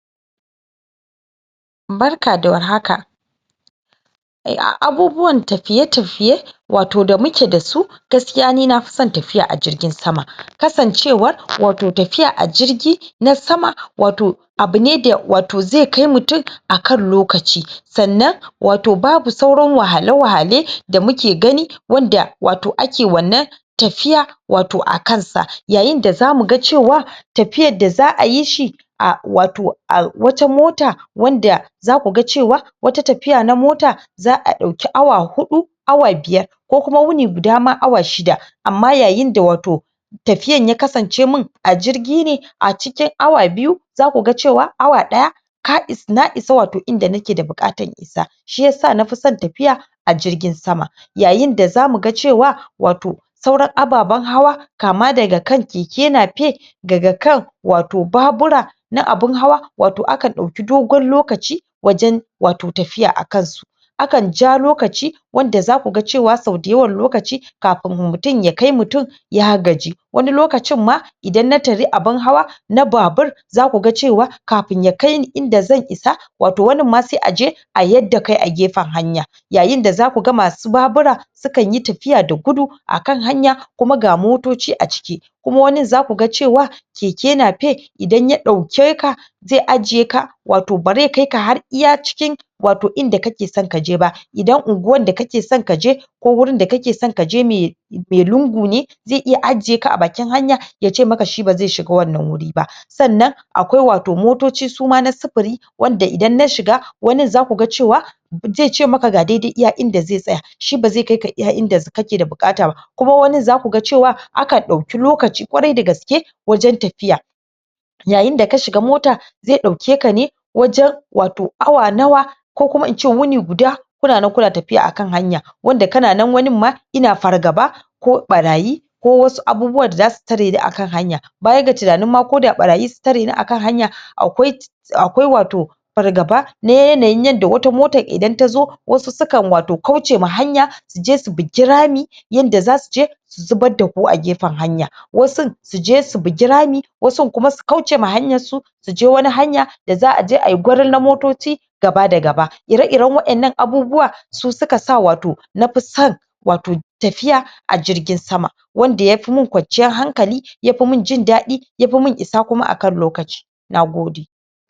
Barka da war haka a a abubuwan tafiye tafiye wato da muke dasu gaskiya ni nafi son tafiya a jingin sama kasan cewan wato tafiya a jingin na na sama wato abine da wato zai kai mutun akan lokaci san nan wato babu sauran wahale, wahale da muke gani wanda wato ake wannan tafiya wato a kansa yayin da zamu ga cewa tafiyan da, zaa yishi a wato a wata mota wanda, zaku ga cewa wata tafiya na mota zaa dauki awa hudu, awa biyar ko kuma huni guda, ma awa shida amma yayin da wato tafiyan ya kasance a jirgine a cikin, awa biyu zaku ga cewa, awa daya na isa wato inda nake da bukatan na isa shi isa nafi son tafiya a jirgin sama yayin da zamu ga cewa wato sauran ababen hawa kama da ga kan keke nafep daga kan wato babura na abun hawa wato aka dauki togon lokaci wajen wato tafiya, akan su akan ja lokaci wanda zaku ga cewar sau da yawan lokaci kafin mutun ya kai mutun ya gaji wani lokacin ma idan na tare abun hawa na babur zaku ga cewa kafin, ya kaini inda zan isa wato wanin ma sai a yar da kai a gefen hanya yayin da zaku ga masu babura su kan yi tafiya da gudu akan hanya kuma ga motoci a ciki kuma wanin zaku ga cewa keke nafeb idan ya daukeka zai ajiye ka wato bazai kaika har iya cikin wato in da ka ke so ka je ba idan unguwan da kake so kaje ko hurin da kake son kaje mai lingu ne zai iya ajiye ka a bakin hanya yace maka shi bazai shiga wannan huri ba yace maka shi bazai shiga wan nan huri ba akwai wato motoci, suma na sifiri wan da idan na shiga wanin zaku ga cewa zai ce maka ga daidai iya inda zai tsaya shi bazai kaika, iya inda kake da bukata ba ko wanin za kuga cewa akan dauki lokaci, kwarai, da gaske wajen tafiya yayin da ka shiga mota zai dauke ka ne wajen wato awa nawa ko kuma in ce huni guda kuna nan kuna tafiya akan hanya wanda wanin ma ina fargaba ko barayi ko wasu abubuwan da zasu tareni a kan hanya baya ga tunanin koda barayi, zasu tareni akan hanya akwai wato fargaba na yanayin yadda, wata motan idan ta zo, wasu sukan wato kaucewa hanya su je su bigi, rami yadda za suje su zubar daku a gefen hanya wasun su je su bigi rami, wasun kuma su kaucewa hanyan su su je wani hanya da za a je ayi gore na motoci gaba da gaba ire iren irin wadan nan abubuwa su ka sa wato nafi son wato tafiya a jirgin sama wanda ya fi mun kwanciyan hankali ya fi mun jin dadi ya fi min isa kuma akan lokaci na gode